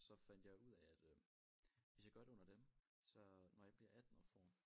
Så fandt jeg ud af at øh hvis jeg gør det under dem så når jeg bliver 18 og får